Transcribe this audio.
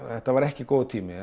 þetta var ekki góður tími